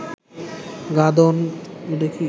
গাদন